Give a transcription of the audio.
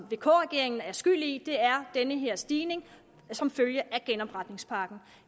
vk regeringen er skyld i er den her stigning som følge af genopretningspakken